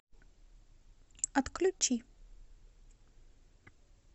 отключи